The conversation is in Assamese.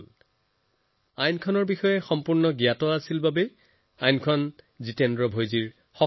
অৰ্থাৎ আইনৰ সঠিক আৰু সম্পূৰ্ণ জ্ঞানেই জিতেন্দ্ৰ ডাঙৰীয়াৰ শক্তি হল